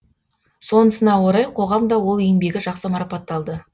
сонысына орай қоғам да ол еңбегі жақсы марапатталды